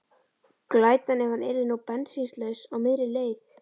Glætan, ef hann yrði nú bensínlaus á miðri leið!